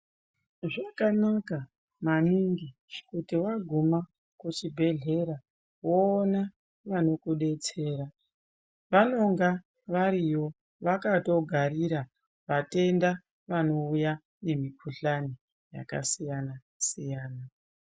Zvanaka maningi kuti vaguma kuchibhedhlera voona vanokubetsera. Vanonga variyo vakatogarira vatenda vanouya nemikuhlani yakasiyana-siyana.